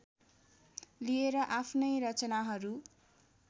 लिएर आफ्नै रचनाहरू